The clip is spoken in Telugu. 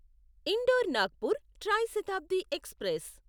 indoor Nagpur tri Shatabdi express